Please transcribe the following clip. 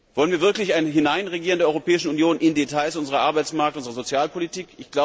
Wollen wir wirklich ein Hineinregieren der Europäischen Union in Details unserer Arbeitsmarkt und Sozialpolitik?